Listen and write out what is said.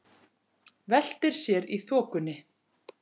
Veltir sér í þokunni.